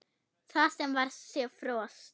Það var sem sé frost.